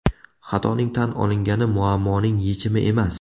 Xatoning tan olingani muammoning yechimi emas.